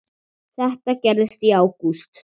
Þetta gerðist í ágúst.